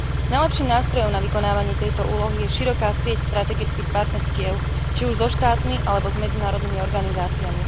Najlepším nástrojom na vykonávanie tejto úlohy je široká sieť strategických partnerstiev, či už so štátmi alebo s medzinárodnými organizáciami.